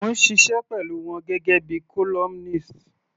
Mò ń ṣiṣẹ́ pẹ̀lú wọn gẹ́gẹ́ bíi columnist.